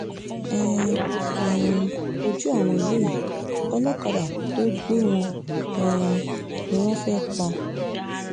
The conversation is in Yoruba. ẹ um wojú àwọn eléyìí olókàdá tó gbé wọn um ni wọ́n fẹ́ẹ́ pa